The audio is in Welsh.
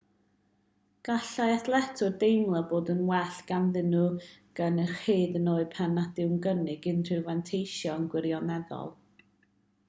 gallai athletwyr deimlo bod yn well ganddyn nhw gynnyrch hyd yn oed pan nad yw'n cynnig unrhyw fanteision gwirioneddol